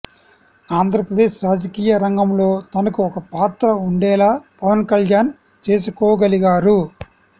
ఆంధ్రప్రదేశ్ రాజకీయ రంగంలో తనకు ఒకపాత్ర ఉండేలా పవన్ కళ్యాణ్ చేసుకోగలిగారు